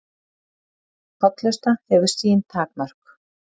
Hollusta hefur sín takmörk